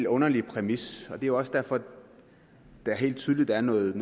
underlig præmis og det er også derfor at der helt tydeligt er noget